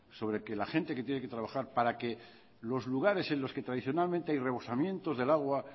sobre que la gente que tiene que trabajar para que los lugares en los que tradicionalmente hay rebosamientos del agua